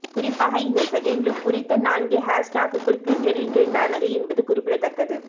குறிப்பாக இந்த செகண்ட்லுக் குறித்த நான்கு ஹேஷ்டேக்குகள் ட்விட்டரில் ட்ரெண்ட் ஆனது என்பது குறிப்பிடத்தக்கது